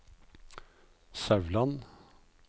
Sauland